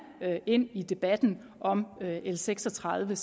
ind i debatten om l seks og tredive